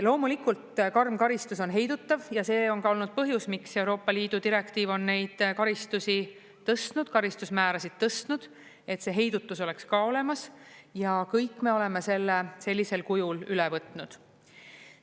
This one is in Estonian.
Loomulikult, karm karistus on heidutav ja see on ka olnud põhjus, miks Euroopa Liidu direktiiv on neid karistusi tõstnud, karistusmäärasid tõstnud, et see heidutus oleks ka olemas ja kõik me oleme selle sellisel kujul üle võtnud.